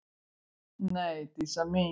Nei, Dísa mín.